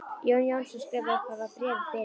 Jón Jónsson skrifaði upphaf að bréfi fyrir mig.